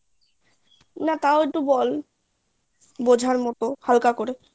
না তাও একটু বল বোঝার মতো হালকা করে